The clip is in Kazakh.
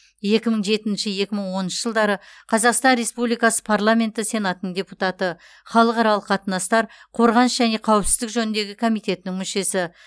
екі мың жетінші екі мың оныншы жылдары қазақстан республикасы парламенті сенатының депутаты халықаралық қатынастар қорғаныс және қауіпсіздік жөніндегі комитетінің мүшесі